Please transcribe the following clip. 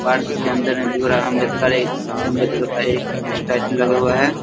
Park के अंदर मे भीम राव अम्बेडकर एक अंबेडकर का एक स्टेचू लगा हुआ है।